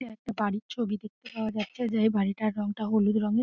একটি বাড়ির ছবি দেখতে পাওয়া যাচ্ছে যে বাড়িটার রং টার হলুদ রঙের।